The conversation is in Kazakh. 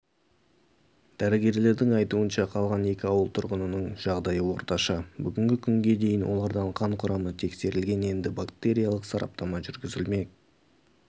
дәрігерлердің айтуынша қалған екі ауыл тұрғынының жағдайы орташа бүгінгі күнге дейін олардан қан құрамы тексерілген енді бактериялық сараптама жүргізілмек